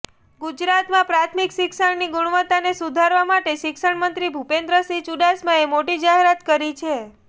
ગુજરાતમાં પ્રાથમિક શિક્ષણની ગુણવત્તાને સુધારવા માટે શિક્ષણમંત્રી ભૂપેન્દ્રસિંહ ચૂડાસમાએ મોટી જાહેરાત કરી છે